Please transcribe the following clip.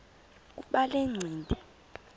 kuba le ncindi